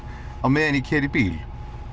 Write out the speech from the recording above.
á meðan ég keyri í bíl